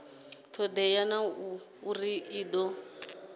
todea na uri i do